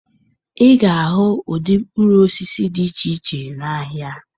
Ị ga-ahụ ụdị mkpụrụ osisi dị iche iche n'ahịa